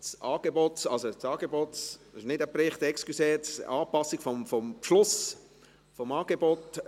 Entschuldigen Sie, es ist kein Bericht, sondern es geht um die Anpassung des Beschlusses zum ÖV-Angebot.